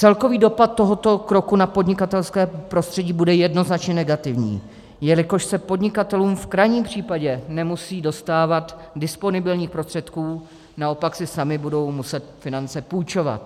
Celkový dopad tohoto kroku na podnikatelské prostředí bude jednoznačně negativní, jelikož se podnikatelům v krajním případě nemusí dostávat disponibilních prostředků, naopak si sami budou muset finance půjčovat.